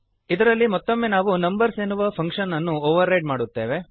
ಇದರಲ್ಲಿ ಮತ್ತೊಮ್ಮೆ ನಾವು ನಂಬರ್ಸ್ ಎನ್ನುವ ಫಂಕ್ಶನ್ ಅನ್ನು ಓವರ್ ರೈಡ್ ಮಾಡುತ್ತೇವೆ